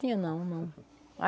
Tinha não, não.